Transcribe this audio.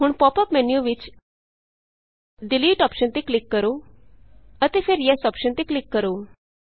ਹੁਣ pop up menu ਵਿਚ delete delete option ਤੇ ਕਲਿਕ ਕਰੋ ਅਤੇ ਫਿਰ ਯੈੱਸ ਯੇਸ ਅੋਪਸ਼ਨ ਤੇ ਕਲਿਕ ਕਰੋ